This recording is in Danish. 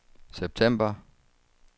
september